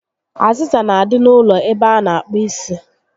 Azịza n'adị n'ụlọ ebe a na akpụ isi